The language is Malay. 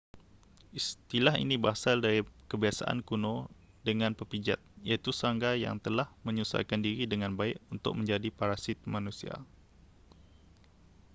istilah ini berasal dari kebiasaan kuno dengan pepijat iaitu serangga yang telah menyesuaikan diri dengan baik untuk menjadi parasit manusia